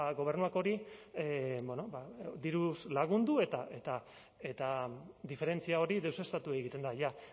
gobernuak hori diruz lagundu eta diferentzia hori deuseztatu egiten da ya